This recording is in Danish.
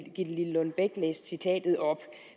gitte lillelund bech læste citatet op